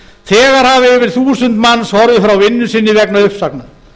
þegar hafa yfir þúsund manns horfið frá vinnu sinni vegna uppsagna